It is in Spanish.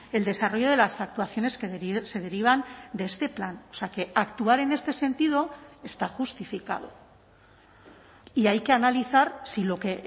el desarrollo de las actuaciones que se derivan de este plan o sea que actuar en este sentido está justificado y hay que analizar si lo que